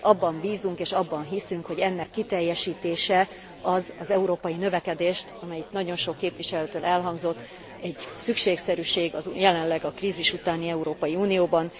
Abban bízunk, és abban hiszünk, hogy ennek kiteljesítése az az európai növekedést erősíti, amelyik nagyon sok képviselőtől elhangzott, egy szükségszerűség jelenleg a krízis utáni Európa Unióban.